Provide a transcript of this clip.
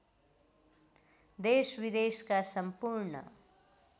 देशविदेशका सम्पूर्ण